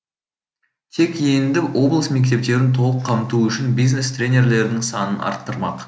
тек енді облыс мектептерін толық қамту үшін бизнес тренерлердің санын арттырмақ